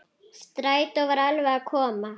Strætó var alveg að koma.